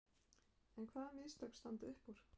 En hvaða mistök standa upp úr?